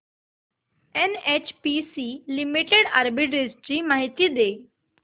NHPC limited arbitrage माहिती दे